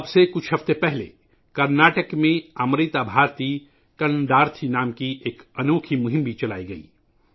اب سے کچھ ہفتے پہلے کرناٹک میں امرتا بھارتی کناڈارتھی کے نام سے ایک انوکھی مہم بھی چلائی گئی تھی